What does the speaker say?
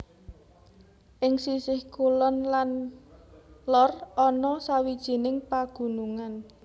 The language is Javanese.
Ing sisih kulon lan lor ana sawijining pagunungan